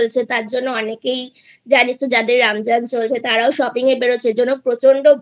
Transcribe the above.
চলছে তার জন্য অনেকেই জানিস তো যাদের রমজান চলছে তারাও Shopping এ বেরোচ্ছে এর জন্য প্রচন্ড ভিড়